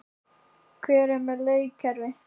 Hvað með leikkerfi?